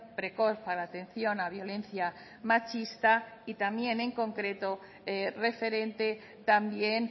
precoz a la atención a violencia machista y también en concreto referente también